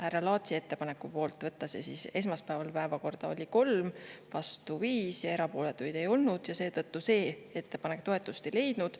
Härra Laatsi ettepaneku poolt võtta see esmaspäevasesse päevakorda oli 3, vastu 5 ja erapooletuid ei olnud, ning seetõttu see ettepanek toetust ei leidnud.